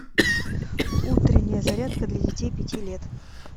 утренняя зарядка для детей пяти лет